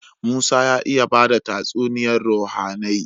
Musa ya iya bada tatsuniyar ruhAnai